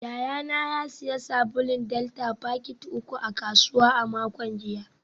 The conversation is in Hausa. Yayana ya sayi sabulun delta fakiti uku a kasuwa a makon jiya